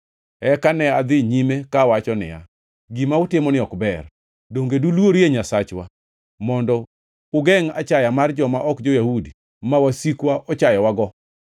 Eka ne adhi nyime ka awacho niya, “Gima utimoni ok ber. Donge duluorie Nyasachwa mondo ugengʼ achaya mar joma ok jo-Yahudi ma wasikwa ochayowago?